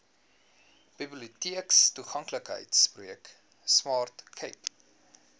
biblioteektoeganklikheidsprojek smart cape